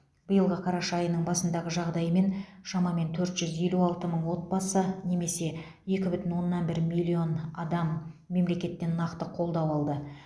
биылғы қараша айының басындағы жағдаймен шамамен төрт жүз елу алты мың отбасы немесе екі бүтін оннан бір миллион адам мемлекеттен нақты қолдау алды